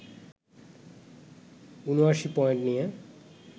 ৭৯ point নিয়ে